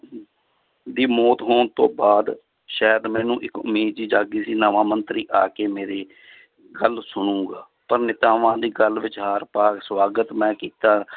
ਦੀ ਮੌਤ ਹੋਣ ਤੋਂ ਬਾਅਦ ਸ਼ਾਇਦ ਮੈਨੂੰ ਇੱਕ ਉਮੀਦ ਜਿਹੀ ਜਾਗੀ ਸੀ ਨਵਾਂ ਮੰਤਰੀ ਆ ਕੇ ਮੇਰੇ ਗੱਲ ਸੁਣੇਗਾ, ਪਰ ਨੇਤਾਵਾਂ ਦੀ ਗੱਲ ਵਿਚਾਰ ਪਰ ਸਵਾਗਤ ਮੈਂ ਕੀਤਾ